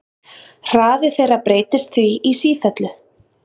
Hraði þeirra breytist því í sífellu.